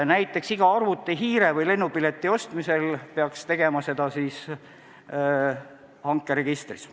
Näiteks iga arvutihiire või lennupileti ostmisel peaks tegema seda hankeregistris.